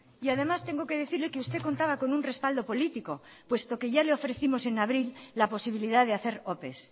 y además tengo que decirle que usted contaba con un respaldo político puesto que ya le ofrecimos en abril la posibilidad de hacer ope